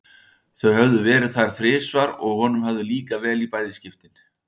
Þau höfðu verið þar tvisvar og honum hafði líkað vel í bæði skiptin.